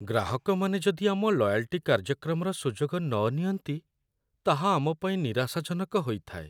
ଗ୍ରାହକମାନେ ଯଦି ଆମ ଲୟାଲ୍ଟି କାର୍ଯ୍ୟକ୍ରମର ସୁଯୋଗ ନ ନିଅନ୍ତି, ତାହା ଆମପାଇଁ ନିରାଶାଜନକ ହୋଇଥାଏ।